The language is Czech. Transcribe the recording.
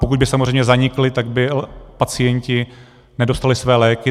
Pokud by samozřejmě zanikly, tak by pacienti nedostali své léky.